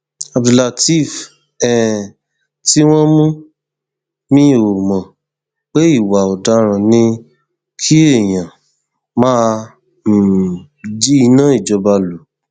abdulateef um tí wọn mú mi ò mọ pé ìwà ọdaràn ni kí èèyàn máa um jí iná ìjọba lọ